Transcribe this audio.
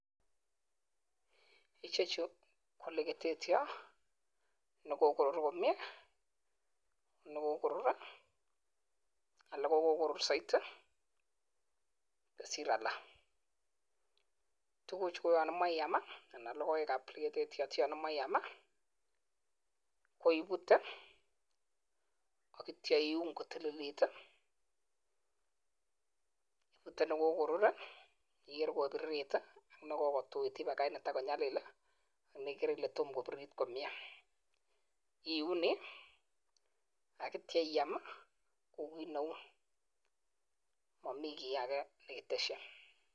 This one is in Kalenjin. Chuuu KO legitetyoo nerurot saiti kosir alak magat iput AK akiam nerurot iuniii AK keam